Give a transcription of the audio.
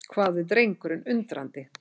hváði drengurinn undrandi.